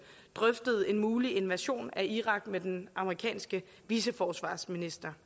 drøftede en mulig invasion af irak med den amerikanske viceforsvarsminister